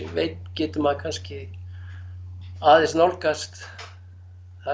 veit getur maður kannski aðeins nálgast það